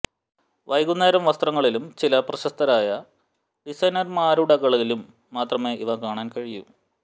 വൈകുന്നേരം വസ്ത്രങ്ങളിലും ചില പ്രശസ്തരായ ഡിസൈനർമാരുടകളിലും മാത്രമേ ഇവ കാണാൻ കഴിയൂ